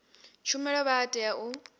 tshumelo vha a tea u